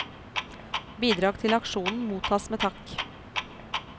Bidrag til aksjonen mottas med takk.